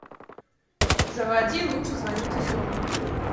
заводи лучше звоните солу